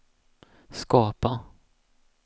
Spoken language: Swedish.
skapa